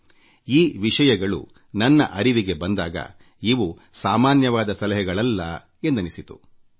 ನನ್ನ ಅರಿವಿಗೆ ಈ ವಿಷಯಗಳು ಬಂದಾಗ ಈ ಸಲಹೆಗಳು ಅತ್ಯದ್ಭುತ ಎಂದೆನಿಸಿತು